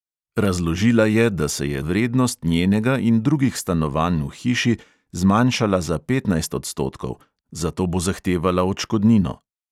Razložila je, da se je vrednost njenega in drugih stanovanj v hiši zmanjšala za petnajst odstotkov, zato bo zahtevala odškodnino.